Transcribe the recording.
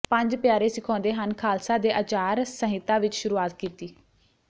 ਪੰਝ ਪਿਆਰੇ ਸਿਖਾਉਂਦੇ ਹਨ ਖਾਲਸਾ ਨੇ ਆਚਾਰ ਸੰਹਿਤਾ ਵਿਚ ਸ਼ੁਰੂਆਤ ਕੀਤੀ